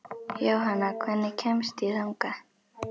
Jónanna, hvernig kemst ég þangað?